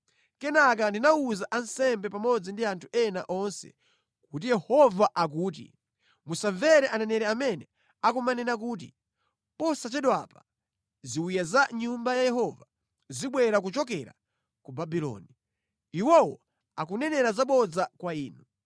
Kenaka ndinawuza ansembe pamodzi ndi anthu ena onse kuti, “Yehova akuti: Musamvere aneneri amene akumanena kuti, ‘Posachedwapa ziwiya za mʼNyumba ya Yehova zibwera kuchokera ku Babuloni.’ Iwowo akunenera zabodza kwa inu.